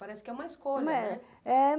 Parece que é uma escolha, né, não é? É